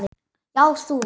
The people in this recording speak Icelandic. Já, þú.